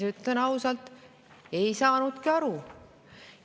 Ütlen ausalt, ei saanudki aru.